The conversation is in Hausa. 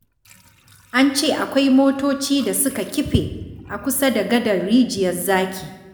An ce akwai motoci da suka kife a kusa da gadar Rijiyar Zaki.